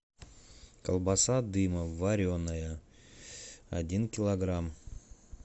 колбаса дымов вареная один килограмм